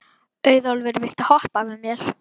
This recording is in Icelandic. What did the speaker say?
Auðólfur, viltu hoppa með mér?